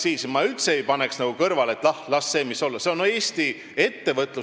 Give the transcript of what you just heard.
Ja ma üldse ei paneks diislikütuse aktsiisi tõusu ärajätmist kõrvale, et ah, las see olla.